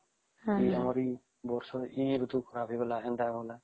ଆମରି ବର୍ଷ ହିଁ ଋତୁ ଖରାପ ହେଇଗଲା